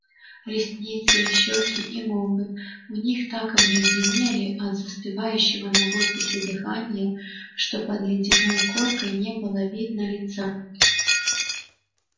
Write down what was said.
ресницы щёки и губы у них так обледенели от застывающего на воздухе дыхания что под ледяной коркой не было видно лица